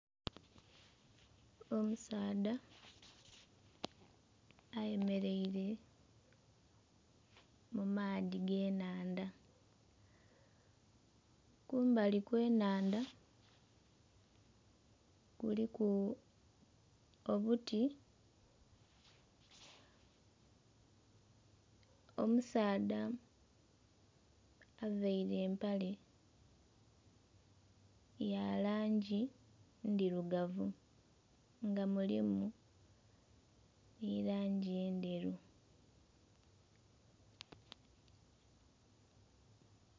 Omusaadha ayemeleire mu maadhi g'enhandha kumbali kwe nhandha kuliku obuti, omusaadha avaire empale ya langi ndhirugavu nga mulimu nhi langi endheru.